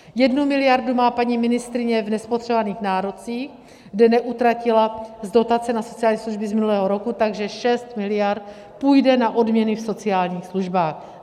Jednu miliardu má paní ministryně v nespotřebovaných nárocích, kde neutratila z dotace na sociální služby z minulého roku, takže 6 miliard půjde na odměny v sociálních službách.